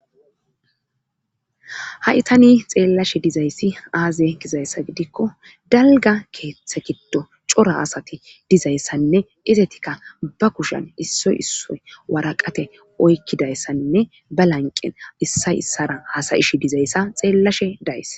haitani xeellashe dizayssi aaze gizayssa gidikko dalga keeththe giddo cora asati dizayssanne izetikka ba kushan issoy issoy waraqate oykkidayssanne ba lanqen issa issara hasayish dizayssa xeellashe days